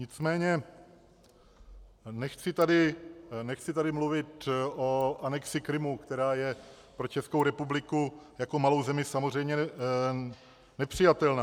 Nicméně nechci tady mluvit o anexi Krymu, která je pro Českou republiku jako malou zemi samozřejmě nepřijatelná.